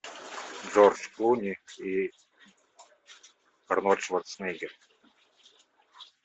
джордж клуни и арнольд шварцнегер